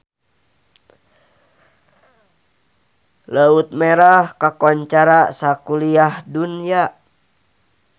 Laut Merah kakoncara sakuliah dunya